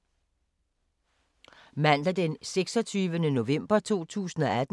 Mandag d. 26. november 2018